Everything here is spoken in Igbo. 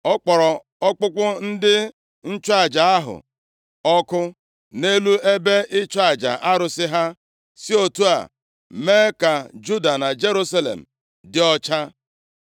Ọ kpọrọ ọkpụkpụ ndị nchụaja ahụ ọkụ nʼelu ebe ịchụ aja arụsị ha, si otu a mee ka Juda na Jerusalem dị ọcha.